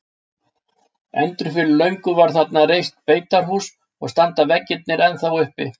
Endur fyrir löngu var þarna reist beitarhús og standa veggirnir ennþá uppi.